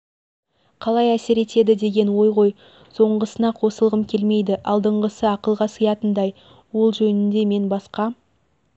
қалай әсер етеді деген ой ғой соңғысына қосылғым келмейді алдыңғысы ақылға сиятындай ол жөнінде мен басқа